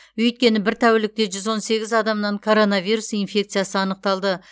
өйткені бір тәулікте жүз он сегіз адамнан короновирус инфекциясы анықталды